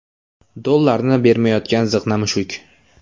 Dollarni bermayotgan ziqna mushuk.